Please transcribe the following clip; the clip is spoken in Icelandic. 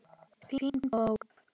Fín bók.